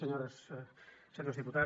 senyores senyors diputats